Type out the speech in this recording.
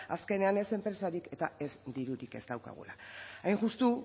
azkenean ez enpresarik eta ez dirurik ez daukagula hain justu